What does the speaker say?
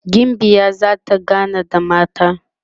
gimbiyar zata gana da mata